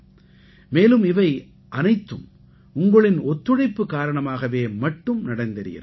மேலும் இவை அனைத்தும் உங்களின் ஒத்துழைப்பு காரணமாக மட்டுமே நடந்தேறியிருக்கிறது